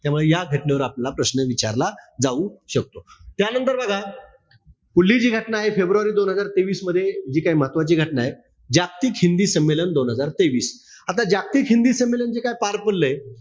त्यामुळे या घटनेवर आपला प्रश्न विचारला जाऊ शकतो. त्यानंतर बघा, पुढली जी घटना आहे दोन हजार तेवीस मध्ये जी काय महत्वाची घटनाय, जागतिक हिंदी संमेलन दोन हजार तेवीस. आता जागतिक हिंदी संमेलन जे काय पार पडलय,